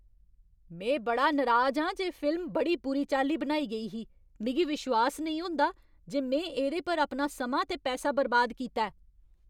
में बड़ा नराज आं जे फिल्म बड़ी बुरी चाल्ली बनाई गेई ही। मिगी विश्वास नेईं होंदा जे में एह्दे पर अपना समां ते पैसा बर्बाद कीता ऐ।